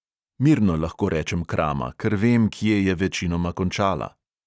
Mirno lahko rečem krama, ker vem, kje je večinoma končala.